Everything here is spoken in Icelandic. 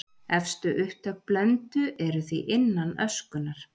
Efstu upptök Blöndu eru því innan öskunnar.